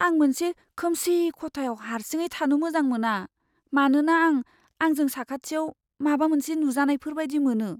आं मोनसे खोमसि खथायाव हारसिङै थानो मोजां मोना, मानोना आं आंजों साखाथियाव माबा मोनसे नुजानायफोर बायदि मोनो।